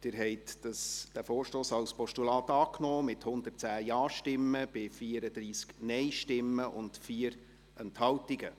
Sie haben den Vorstoss als Postulat angenommen, mit 110 Ja- bei 34 Nein-Stimmen und 4 Enthaltungen.